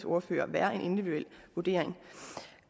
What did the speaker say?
ordfører være en individuel vurdering